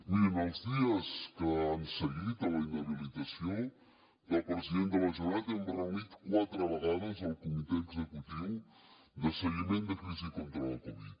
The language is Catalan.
miri en els dies que han seguit a la inhabilitació del president de la generalitat hem reunit quatre vegades el comitè executiu de seguiment de crisi contra la covid